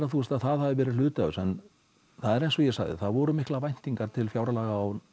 að hafi verið hluti af þessu en það er eins og ég sagði það voru miklar væntingar til fjárlaga